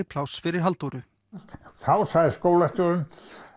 pláss fyrir Halldóru þá sagði skólastjórinn